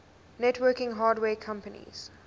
networking hardware companies